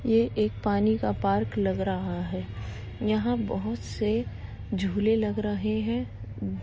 ये एक पानी का पार्क लग रहा है। यहाँ बहुत से झूले लग रहे हैं।